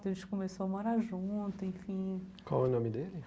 A gente começou a morar junto, enfim... Qual é o nome dele?